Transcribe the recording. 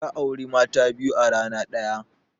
Ya auri mata biyu a rana ɗaya.